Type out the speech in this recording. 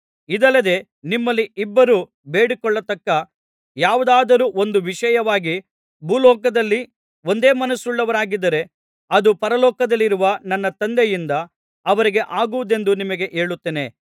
ಇದಲ್ಲದೆ ನಿಮ್ಮಲ್ಲಿ ಇಬ್ಬರು ಬೇಡಿಕೊಳ್ಳತಕ್ಕ ಯಾವುದಾದರು ಒಂದು ವಿಷಯವಾಗಿ ಭೂಲೋಕದಲ್ಲಿ ಒಂದೇ ಮನಸ್ಸುಳ್ಳವರಾಗಿದ್ದರೆ ಅದು ಪರಲೋಕದಲ್ಲಿರುವ ನನ್ನ ತಂದೆಯಿಂದ ಅವರಿಗೆ ಆಗುವುದೆಂದು ನಿಮಗೆ ಹೇಳುತ್ತೇನೆ